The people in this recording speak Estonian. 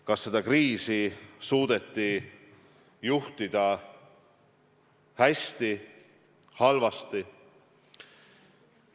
Kas seda kriisi suudeti juhtida hästi või halvasti?